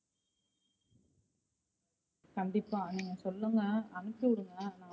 கண்டிப்பா நீங்க சொல்லுங்க அம்சுவிடுங்க.